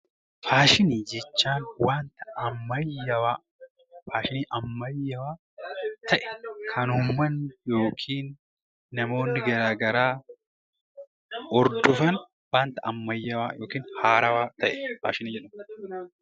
Faashinii jechuun wanta ammayyaa ta'e kan uummanni yookiin namoonni garaagaraa hordofan wanta ammayyaa yookaan haaraa ta'e faashinii Jenna